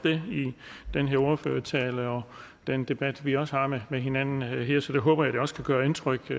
i ordførertalen og den debat vi også har med hinanden her så det håber jeg også kan gøre indtryk i